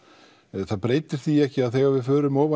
en það breytir því ekki að þegar við förum